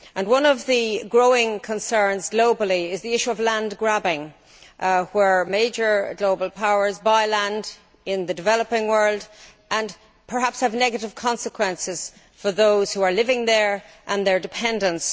One of the growing concerns globally is the issue of land grabbing, where major global powers buy land in the developing world, which perhaps has negative consequences for those who are living there and their dependants.